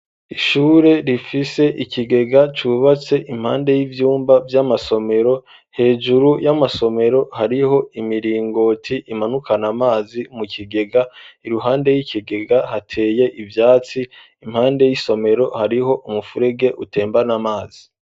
Ishure rifise ikigega cubatse impande y'ivyumba vy'amasomero hejuru y'amasomero hariho imiringoti imanukana amazi mu kigega iruhande y'ikigega hateye ivyatsi impande y'isomero hariho umufurege utembana amazi.